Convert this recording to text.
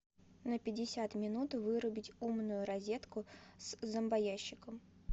на пятьдесят минут вырубить умную розетку с зомбоящиком